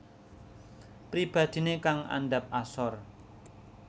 Pribadiné kang andhap asor